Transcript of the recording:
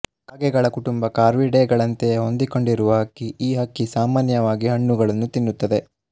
ಕಾಗೆಗಳ ಕುಟುಂಬಕಾರ್ವಿಡೇಗಳಂತೆಯೇ ಹೊಂದಿಕೊಂಡಿರುವ ಹಕ್ಕಿ ಈ ಹಕ್ಕಿ ಸಾಮಾನ್ಯವಾಗಿ ಹಣ್ಣುಗಳನ್ನು ತಿನ್ನುತ್ತದೆ